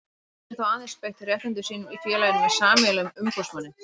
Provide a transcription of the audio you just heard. Geta þeir þá aðeins beitt réttindum sínum í félaginu með sameiginlegum umboðsmanni.